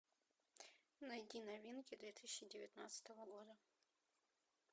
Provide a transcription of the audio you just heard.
найди новинки две тысячи девятнадцатого года